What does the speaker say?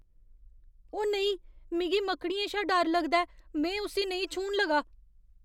ओ नेईं.. ! मिगी मकड़ियें शा डर लगदा ऐ। में उस्सी नेईं छूह्न लगा।